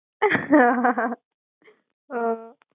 હ